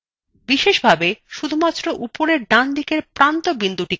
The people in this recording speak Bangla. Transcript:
বিশেষভাবে শুধুমাত্র উপরের ডানদিকের প্রান্ত বিন্দুটি সরানো যাক